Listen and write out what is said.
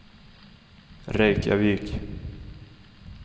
Reykjavik